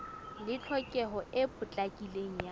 le tlhokeho e potlakileng ya